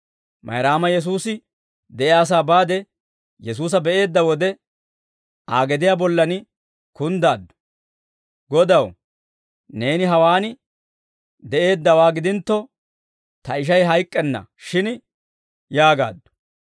Mayraama Yesuusi de'iyaasaa baade Yesuusa be'eedda wode, Aa gediyaa bollan kunddaaddu; «Godaw, neeni hawaan de'eeddawaa gidintto, ta ishay hayk'k'enna shin!» yaagaaddu.